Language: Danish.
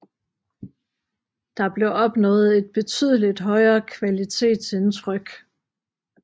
Der blev opnået et betydeligt højere kvalitetsindtryk